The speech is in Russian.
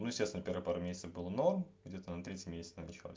ну естественно первых пару месяцев было но где то на третий месяц надо ещё раз